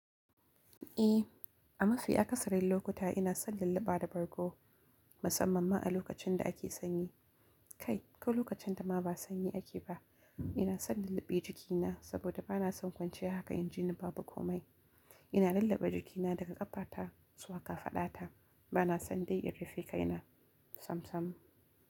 Ehh, a mafi akasarin lokuta ina son lallaba da bargo, musamman ma a lokacin da ake sanyi. Kai, ko lokacin da ma ba sanyi ake ba, ina son lulluɓe jikina saboda ba na son kwanciya haka inji ni ba bu komai. Ina lallaba jikina daga ƙafata zuwa kafadata. Ba na son dai in rufe kai na samsam.